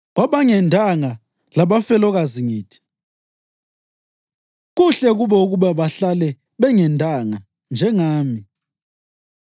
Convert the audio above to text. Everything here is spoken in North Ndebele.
Kwabangendanga labafelokazi ngithi: Kuhle kubo ukuba bahlale bengendanga, njengami.